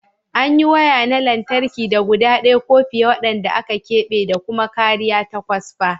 An yi waya na lantarki da guda ɗaya ko fiye waɗanda aka keɓe da kuma kariya ta kwasfa.